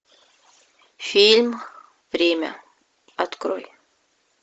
фильм время открой